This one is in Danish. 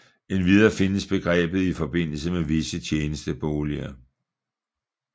Endvidere findes begrebet i forbindelse med visse tjenesteboliger